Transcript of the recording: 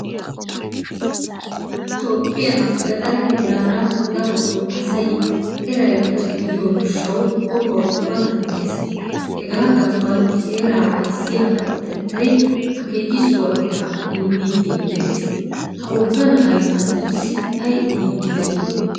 Toophphiyan gaxaree heerara darotto asay eray pacca gidiyo gishawu qohuwawu matan de"ees. Hegaa gasuwan heeraa aysiyaa kawotettay akekisuwaa eraa immide de"ees. Ha wogga na"ay asatussi ayi odidi dei?